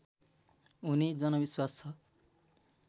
हुने जनविश्वास छ